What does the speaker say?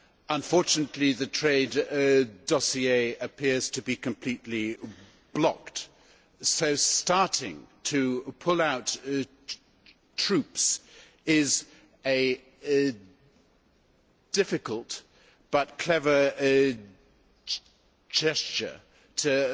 Unfortunately, the trade dossier appears to be completely blocked, so starting to pull out troops is a difficult, but clever, gesture to